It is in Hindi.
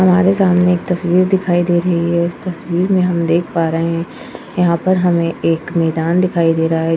हमारे सामने एक तस्वीर दिखाई दे रही है। उस तस्वीर में हम देख पा रहे है यहाँ पर हमे एक मेदान दिखाई दे रहा है।